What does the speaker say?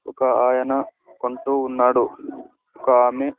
ఒక ఆయన కొంటూ ఉన్నాడు ఒక ఆమే --